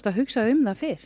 hugsa um hann fyrr